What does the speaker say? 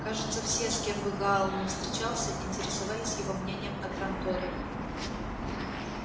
кажется все с кем бы гаал ни встречался интересовались его мнением о транторе